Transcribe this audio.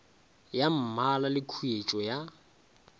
ya mmala le khuetšo ya